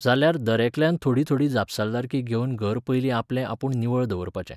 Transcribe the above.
जाल्यार दरेकल्यान थोडी थोडी जापसालदारकी घेवन घर पयलीं आपले आपूण निवळ दवरपाचें.